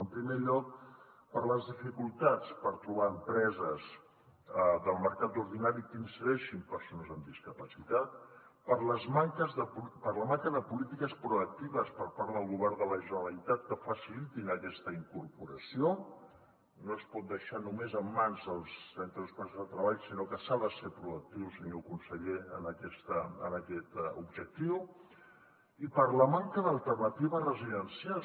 en primer lloc per les dificultats per trobar empreses del mercat ordinari que insereixin persones amb discapacitat per la manca de polítiques proactives per part del govern de la generalitat que facilitin aquesta incorporació no es pot deixar només en mans dels centres especials de treball sinó que s’ha de ser proactiu senyor conseller en aquest objectiu i per la manca d’alternatives residencials